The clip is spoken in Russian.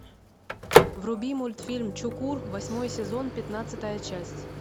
вруби мультфильм чукур восьмой сезон пятнадцатая часть